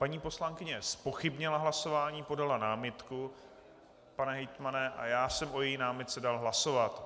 Paní poslankyně zpochybnila hlasování, podala námitku, pane hejtmane, a já jsem o její námitce dal hlasovat.